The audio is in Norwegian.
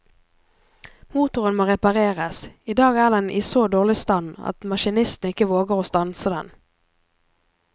Motoren må repareres, i dag er den i så dårlig stand at maskinisten ikke våger å stanse den.